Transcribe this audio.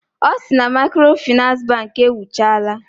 Ọ sị na maịkrofịnans bankị ewuchala